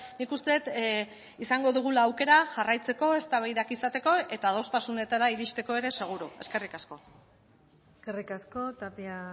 nik uste dut izango dugula aukera jarraitzeko eztabaidak izateko eta adostasunetara iristeko ere seguru eskerrik asko eskerrik asko tapia